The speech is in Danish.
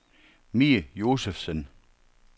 Mie Josefsen